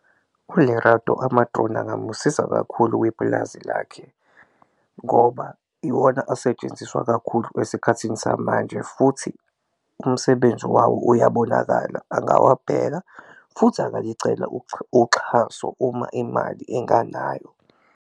ULerato ama-drone angamusiza kakhulu kwipulazi lakhe ngoba iwona asetshenziswa kakhulu esikhathini samanje futhi umsebenzi wawo uyabonakala, angabheka futhi angalicela uxhaso uma imali enganayo.